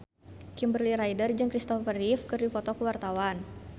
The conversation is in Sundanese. Kimberly Ryder jeung Kristopher Reeve keur dipoto ku wartawan